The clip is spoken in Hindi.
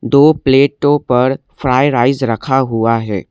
दो प्लेटो पर फ्राई राइस रखा हुआ है।